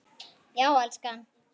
Já, elskan?